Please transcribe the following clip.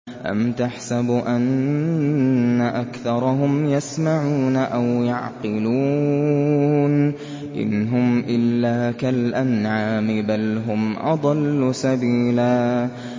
أَمْ تَحْسَبُ أَنَّ أَكْثَرَهُمْ يَسْمَعُونَ أَوْ يَعْقِلُونَ ۚ إِنْ هُمْ إِلَّا كَالْأَنْعَامِ ۖ بَلْ هُمْ أَضَلُّ سَبِيلًا